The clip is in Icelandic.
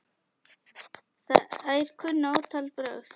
Þær kunna ótal brögð.